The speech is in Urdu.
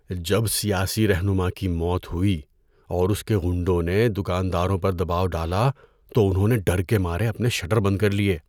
جب سیاسی رہنما کی موت ہوئی اور اس کے غنڈوں نے دکانداروں پر دباؤ ڈالا تو انہوں نے ڈر کے مارے اپنے شٹر بند کر لیے۔